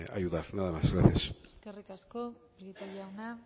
ayudar nada más gracias eskerrik asko prieto jauna